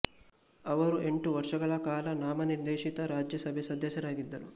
ಅವರು ಎಂಟು ವರ್ಷಗಳ ಕಾಲ ನಾಮನಿರ್ದೇಶಿತ ರಾಜ್ಯ ಸಭೆ ಸದಸ್ಯರಾಗಿದ್ದರು